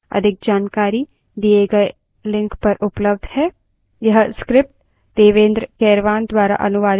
अधिक जानकारी दिए गए link पर उपलब्ध है